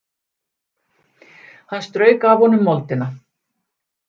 Hann strauk af honum moldina.